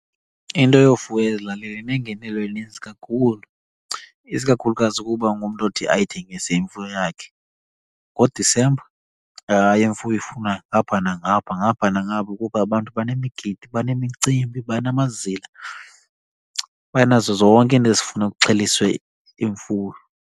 Into yofuya ezilalini inengenelo eninzi kakhulu, isikakhulukazi ukuba ungumntu othi ayithengise imfuyo yakhe. NgoDisemba hayi imfuyo ifunwa apha nangapha, ngapha nangapha. Kuba abantu banemigidi, banemicimbi, banamazila, banazo zonke iinto ezifuna kuxheliswe imfuyo.